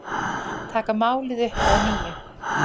Taka málið upp að nýju